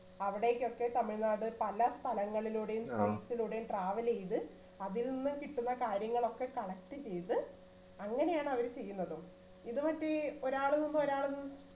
അവിടേക്കൊക്കെ തമിഴ്നാട് പല സ്ഥലങ്ങളിലൂടെയും hills ലൂടെയും travel ചെയ്ത് അതിൽ നിന്ന് കിട്ടുന്ന കാര്യങ്ങളൊക്കെ collect ചെയ്ത് അങ്ങനെയാണ് അവര് ചെയ്യുന്നത്. ഇത് മറ്റേ ഒരാള് പോകുമ്പോൾ ഒരാള്